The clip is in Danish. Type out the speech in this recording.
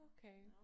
Okay